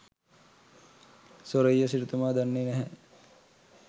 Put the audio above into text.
සෝරෙය්‍ය සිටුතුමා දන්නෙ නැහැ